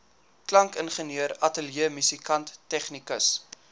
klankingenieur ateljeemusikant tegnikus